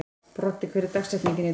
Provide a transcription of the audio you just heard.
Broddi, hver er dagsetningin í dag?